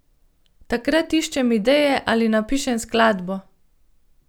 Takrat iščem ideje ali napišem skladbo.